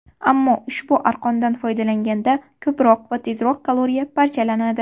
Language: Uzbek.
Ammo ushbu arqondan foydalanganda ko‘proq va tezroq kaloriya parchalanadi.